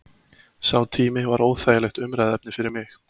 Sá tími var óþægilegt umræðuefni fyrir mig.